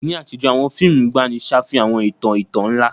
Ní àtijọ́, àwọn fíìmù ìgbàanì ṣàfihàn àwọn ìtàn ìtàn ńlá.